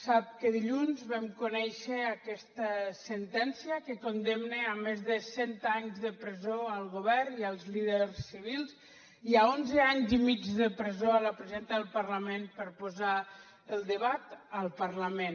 sap que dilluns vam conèixer aquesta sentència que condemna a més de cent anys de presó el govern i els líders civils i a onze anys i mig de presó la presidenta del parlament per posar el debat al parlament